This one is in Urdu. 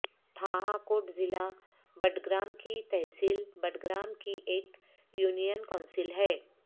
تھاہ کوٹ ضلع بٹگرام کی تحصیل بٹگرام کی ایک یونین کونسل ہے